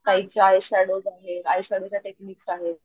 काहीच्या eye shadows आहेत eye shadows च्या technique आहेत.